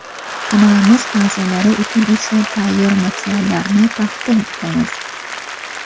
Kanalimiz a’zolari uchun esa tayyor materiallarni taqdim etamiz.